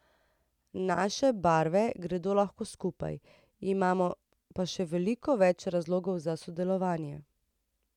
Naše barve gredo lepo skupaj, imamo pa še veliko več razlogov za sodelovanje.